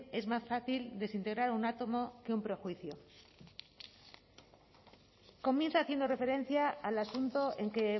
es más fácil desintegrar un átomo que un prejuicio comienza haciendo referencia al asunto en que